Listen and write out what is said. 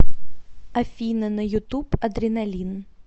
афина на ютуб адреналин